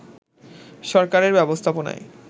সরকারের ব্যবস্থাপনায়